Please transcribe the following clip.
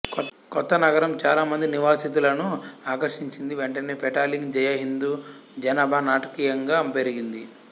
కొత్త నగరం చాలా మంది నివాసితులను ఆకర్షించింది వెంటనే పెటాలింగ్ జయ హిందూ జనాభా నాటకీయంగా పెరిగింది